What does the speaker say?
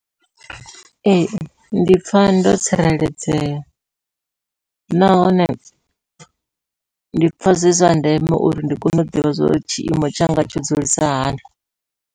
Ee ndi pfha ndo tsireledzea, nahone ndi pfha zwi zwa ndeme uri ndi kone u ḓivha zwori tshiimo tshanga tsho dzulisa hani.